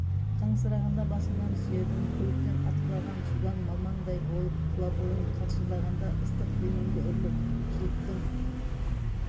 қаңсырағанда басыңнан сүйедім көліктен атқылаған судан малмаңдай болып тұлабойың қалшылдағанда ыстық демімді үрлеп жылыттым